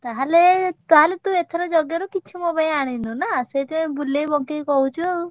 ତାହେଲେ ତାହେଲେ ତୁ ଏଥର ଯଜ୍ଞରୁ କିଛି ମୋ ପାଇଁ ଆଣିନୁ ନା? ସେଇଥିପାଇଁ ବୁଲେଇ ବଙ୍କେଇ କହୁଛୁ ଆଉ।